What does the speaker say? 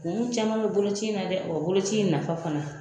Kun caman bɛ boloci in na dɛ, wa boloci in nafa fana